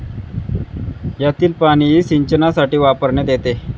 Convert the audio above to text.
यातील पाणी सिंचनासाठी वापरण्यात येते